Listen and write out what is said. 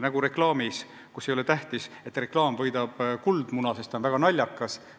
Nagu reklaami puhul ei ole tähtis, et reklaam võidab Kuldmuna auhinna, sest ta on väga naljakas.